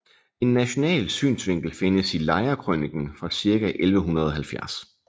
En national synsvinkel findes i Lejrekrøniken fra ca 1170